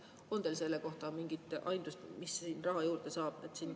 On teil selle kohta mingit aimdust, mis siin raha juurde saab?